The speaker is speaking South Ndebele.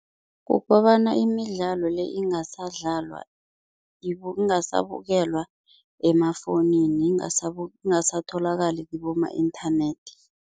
Kukobana imidlalo le ingasadlalwa, ingasabukelwa emafowunini, ingasatholakali kiboma-internet.